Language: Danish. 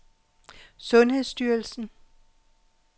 sundhedsstyrelsen